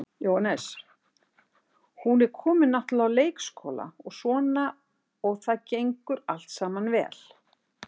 Jóhannes: Hún er komin náttúrulega á leikskóla og svona og það gengur allt saman vel?